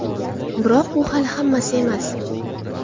Biroq bu hali hammasi emas.